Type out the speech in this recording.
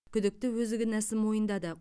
күдікті өзі кінәсін мойындады